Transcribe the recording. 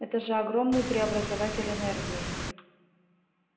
это же огромный преобразователь энергии